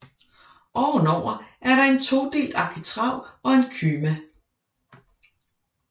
Ovenover er der en todelt arkitrav og en kyma